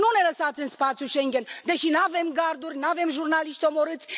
Nu ne lăsați în spațiul Schengen deși n avem garduri, n avem jurnaliști omorâți.